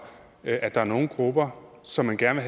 at der er nogle grupper som man gerne